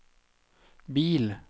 bil